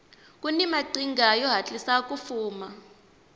kuni maqhinga yo hatlisa ku fuma